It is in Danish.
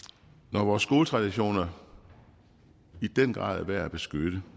når vores gode traditioner i den grad er værd at beskytte